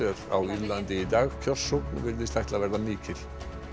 á Írlandi í dag kjörsókn virðist ætla að verða mikil